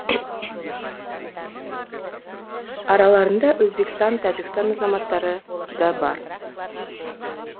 араларында өзбекстан тәжікстан азаматтары да бар